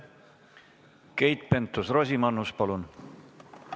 Keit Pentus-Rosimannus, palun!